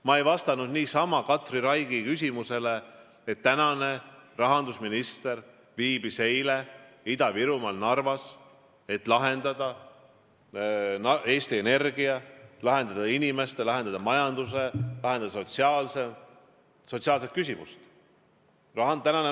Ma ei vastanud Katri Raigi küsimusele niisama, et rahandusminister viibis eile Ida-Virumaal Narvas, et lahendada Eesti Energia küsimusi, lahendada inimeste ja majanduse küsimusi, sotsiaalseid küsimusi.